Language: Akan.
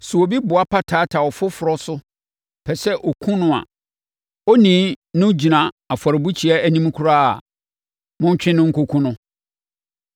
Sɛ obi boapa taataa ɔfoforɔ so pɛ sɛ ɔkum no a, onii no gyina afɔrebukyia anim koraa a, montwe no nkɔkum no.